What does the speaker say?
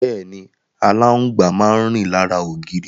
Bẹ́ẹ̀ni, aláǹgbá máa rìn lára ògiri.